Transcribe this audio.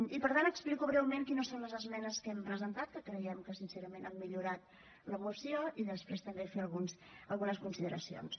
i per tant explico breument quines són les esmenes que hem presentat que creiem que sincerament han millorat la moció i després també fer algunes consideracions